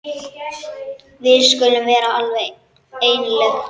Við skulum vera alveg einlæg.